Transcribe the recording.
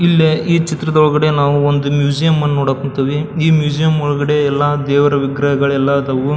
ಇಲ್ಲೇ ಇ ಚಿತ್ರದ ಒಳಗಡೆ ನಾವು ಒಂದು ಮ್ಯೂಸಿಯಂ ನೋಡಕ್ ಹೊಂಥಿವಿ ಮ್ಯೂಸಿಯಂ ಒಳಗಡೆ ಎಲ್ಲ ದೇವ್ರವಿಗ್ರಹಗಳು ಎಲ್ಲ ಆದವು --